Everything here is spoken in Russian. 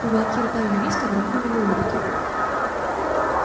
уголки рта юриста дрогнули в улыбке